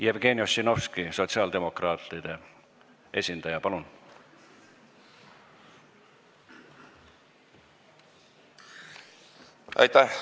Jevgeni Ossinovski, sotsiaaldemokraatide esindaja, palun!